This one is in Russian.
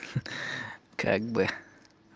как бы